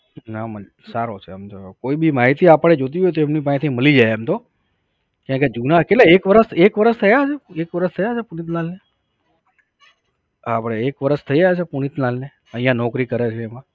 નાં આમ તો સારો છે આમ તો કોઈ બી માહિતી આપડે જોતી હોય ને તો એમની પાસેથી મળી જાય એમ તો. કેમકે જૂના કેટલા એક વરસ, એક વરસ થયો છે? એક વરસ થયા છે પુનિતલાલ ને? આપણે એક વરસ થયા હશે પુનિતલાલને અહિયાં નોકરી કરે છે એમાં?